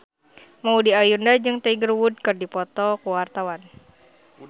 Maudy Ayunda jeung Tiger Wood keur dipoto ku wartawan